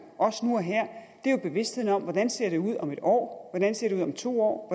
også nu og her er bevidstheden om hvordan det ser ud om en år hvordan det ser ud om to år